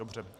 Dobře.